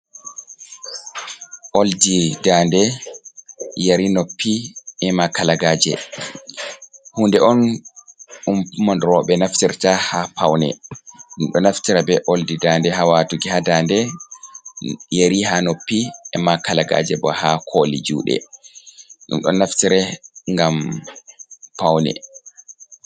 Oldi daande yeri noppi e'ma kalagaje. Hunde on ɓurna roɓe naftirta ha paune. Ɗum ɗo naftira be oldi daande ha watugi ha daande, yeri ha noppi e'ma kalagaje bo ha koli juɗe. Ɗum ɗo naftire ngam paune.